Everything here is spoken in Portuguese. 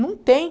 Não tem.